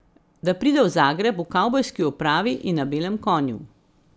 Da pride v Zagreb v kavbojski opravi in na belem konju.